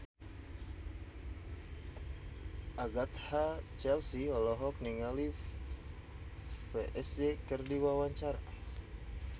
Agatha Chelsea olohok ningali Psy keur diwawancara